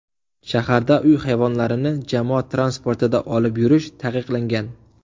Shaharda uy hayvonlarini jamoat transportida olib yurish taqiqlangan.